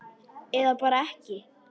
Eða bara ekki?